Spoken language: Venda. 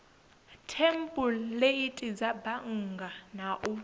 thempuleithi dza bannga na u